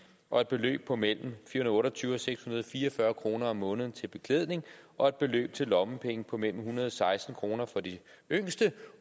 og et beløb på mellem fire hundrede og otte og tyve og seks hundrede og fire og fyrre kroner om måneden til beklædning og et beløb til lommepenge på mellem en hundrede og seksten kroner for de yngste